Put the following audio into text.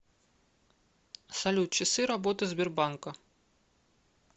салют часы работы сбербанка